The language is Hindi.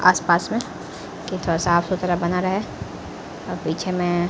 आसपास में की थोडा फास सुथरा बना रहे और पीछे में--